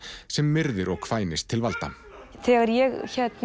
sem myrðir og kvænist til valda þegar ég